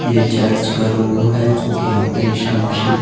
ये चर्च का लोगों है जो की आपका ईसा मसीह--